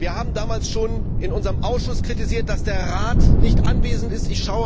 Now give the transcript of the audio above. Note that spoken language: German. Wir haben damals schon in unserem Ausschuss kritisiert, dass der Rat nicht anwesend ist.